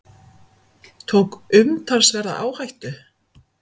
Tók umtalsverða áhættu